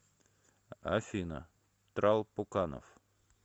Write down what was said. афина трал пуканов